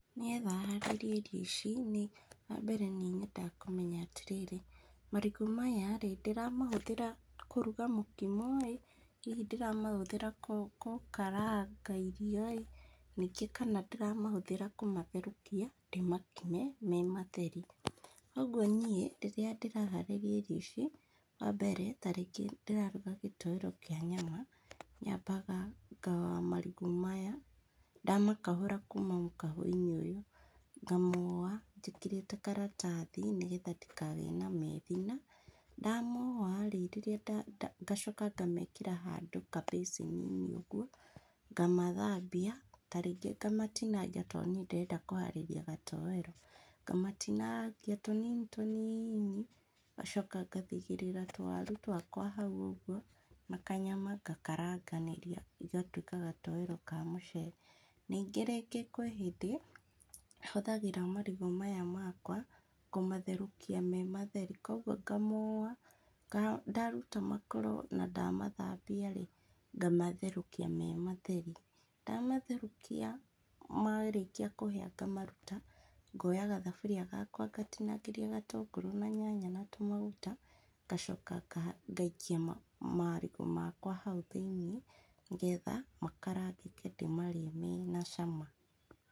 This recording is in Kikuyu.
Nĩgetha harĩrie irio ici nĩ, wambere nĩ nyendaga kũmenya atĩrĩrĩ, marigũ maya rĩ, ndĩramahũthĩra kũruga mũkimo ĩ, hihi ndĩramahũthĩra kũ kũkaranga irio ĩ, ningĩ kana ndĩramahũthĩra kũmatherũkia, ndĩmakime me matheri, ũguo niĩ, rírĩa ndĩraharĩria irio ici, wambere tarĩngĩ ndĩraruga gĩtoero kĩa nyama, nyambaga ngaũa marigũ maya, ndamakahũra kuma mũkaho-inĩ ũyũ, ngamoa njĩkĩrĩte karatathi nĩgetha ndikagĩe na methina, ndamoa rĩ, rĩrĩ nda nda ngacoka ngamekĩra handũ ka mbacĩni-inĩ ũguo, ngamathambia, tarĩngĩ ngamatinangia to niĩ ndĩrenda kũharĩia gatoero, ngamatinangia tũnini tũnini, ngacoka ngathithĩrĩra tũwaru twakwa hau ũguo, na kanyama ngakaranganĩria igatwĩka gatoero ka mũcere, ningĩ rĩngĩ kwĩ hĩndĩ, hũthagĩra marigũ maya makwa kũmatherũkia me matheri koguo ngamoa nga, ndaruta makoro na ndamathambia rĩ, ngamatherũkia me matheri, ndamatherũkia marĩkia kũhĩa ngamaruta, ngoya gathaburia gakwa ngatinangĩria gatũngũrũ na tũ nyanya na maguta, ngacoka ngaha ngaikia ma marigũ makwa hau thĩ-inĩ, nĩgetha makarangĩke ndĩmarĩe mena cama.